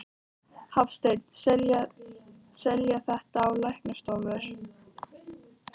Hafsteinn: Selja þetta á læknastofur?